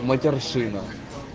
матерщина